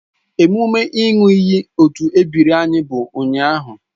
Emume ị ṅụọ iyi otu ebiri anyị bụ ụnyahụ